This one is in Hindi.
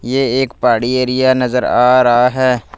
ये एक पहाड़ी एरिया नजर आ रहा है।